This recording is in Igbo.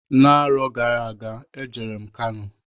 N'arọ gara aga e jere m Kano.